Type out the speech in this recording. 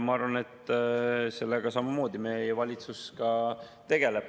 Ma arvan, et sellega samamoodi meie valitsus ka tegeleb.